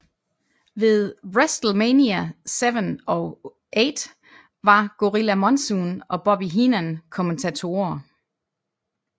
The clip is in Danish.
Ved WrestleMania VII og VIII var Gorilla Monsoon og Bobby Heenan kommentatorer